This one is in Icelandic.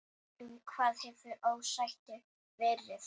Um hvað hefur ósættið verið?